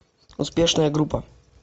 успешная группа